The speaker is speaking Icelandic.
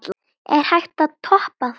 Er hægt að toppa það?